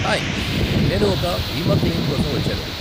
Hi, నేను ఒక బీమా క్లెయిమ్ కోసం వచ్చాను.